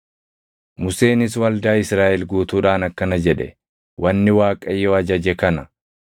Museenis waldaa Israaʼel guutuudhaan akkana jedhe; “Wanni Waaqayyo ajaje kana: